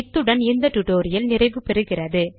இத்துடன் இந்த டுடோரியல் நிறைவு பெறுகிறது